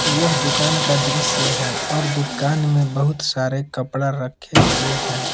यह दुकान का दृश्य है और दुकान में बहुत सारे कपड़ा रखे हुवे हैं।